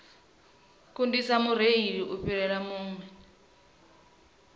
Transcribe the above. kundisa mureili u fhirela vhuṅwe